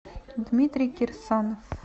дмитрий кирсанов